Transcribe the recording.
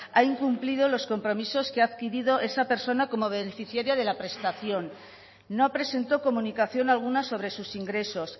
ha incumplido los compromisos que ha adquirido esa persona como beneficiaria de la prestación no presentó comunicación alguna sobre sus ingresos